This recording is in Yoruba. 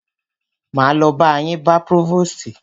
Máa lo ba yín bá próvòstì.